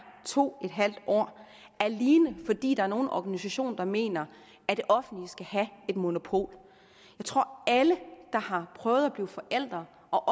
to en halv år alene fordi der er nogle organisationer der mener at det offentlige skal have et monopol jeg tror at alle der har prøvet at blive forældre og